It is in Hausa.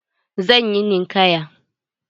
Zan yi ninkaya.